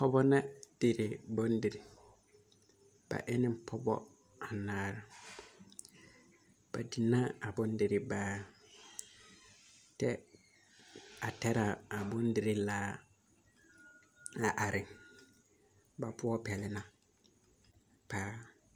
Pɔgebɔ ne dire bondiri ba e ne pɔgebɔ anaare ba di ne a bondirii baare tɛ taraabondirii laar a are ba poɔ pɛlna paa.